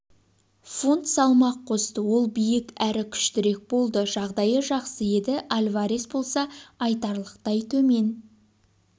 фунт салмақ қосты ол биік әрі күштірек болды жағдайы жақсы еді альварес болса айтарлықтай төмен